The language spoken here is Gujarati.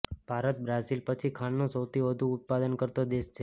ભારત બ્રાઝિલ પછી ખાંડનું સૌથી વધુ ઉત્પાદન કરતો દેશ છે